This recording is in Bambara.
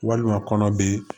Walima kɔnɔ be